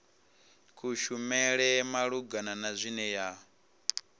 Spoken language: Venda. kushumele malugana na zwine ya